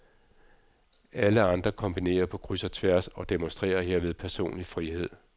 Alle andre kombinerer på kryds og tværs og demonstrerer herved personlig frihed.